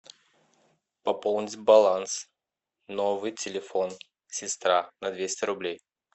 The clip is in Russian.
пополнить баланс новый телефон сестра на двести рублей